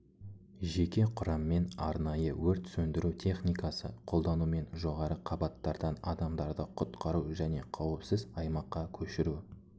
жеке құраммен арнайы өрт сөндіру техникасы қолданумен жоғары қабаттардан адамдарды құтқару және қауіпсіз аймаққа көшіру